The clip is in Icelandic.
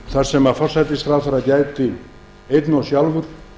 þar sem forsætisráðherra gæti einn og sjálfur